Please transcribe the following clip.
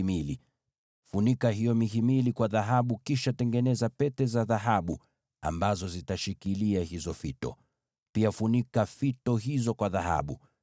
Funika hiyo mihimili kwa dhahabu, kisha tengeneza pete za dhahabu ambazo zitashikilia hayo mataruma. Pia funika hayo mataruma kwa dhahabu.